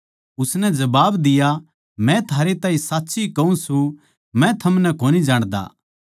उसनै जबाब दिया मै थारै ताहीं साच्ची कहूँ सूं मै थमनै कोनी जाण्दा